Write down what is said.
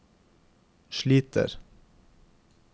sliter